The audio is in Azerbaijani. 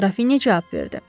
Qrafini cavab verdi.